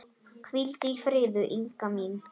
Hvíldu í friði, Inga mín.